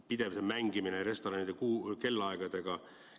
Pidev mängimine restoranide kellaaegadega.